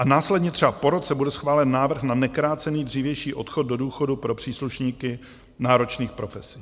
A následně, třeba po roce, bude schválen návrh na nekrácený dřívější odchod do důchodu pro příslušníky náročných profesí.